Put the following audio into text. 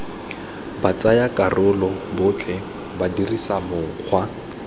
batsayakarolo botlhe ba dirisa mokgwa